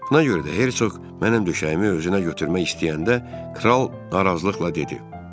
Buna görə də Hersoq mənim döşəyimi özünə götürmək istəyəndə kral narazılıqla dedi: